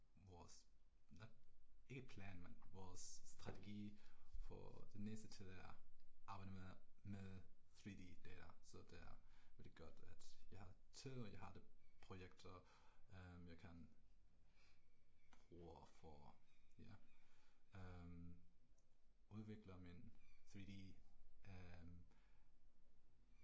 Vores ikke plan men vores strategi for den næste tid er arbejde med med 3D-data, så der er er det godt jeg har tid og jeg har det projekt og jeg kan bruge at få ja øh udvikle min 3D